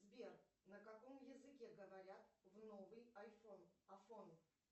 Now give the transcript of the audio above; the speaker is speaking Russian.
сбер на каком языке говорят в новый айфон афон